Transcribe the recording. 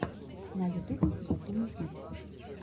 на ютубе батуми битс